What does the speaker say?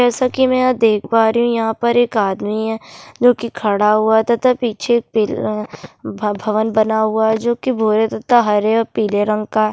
जैसा की मै यहाँ देख पारी हूँ यहाँ पर एक आदमी है जो की खडा हुआ तथा पिछे पेल अ भ भवन बना हुआ है जो की भूरे तथा हरा और पीले रंग का --